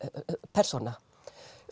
persóna